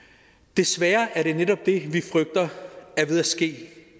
desværre er det netop det vi frygter er ved at ske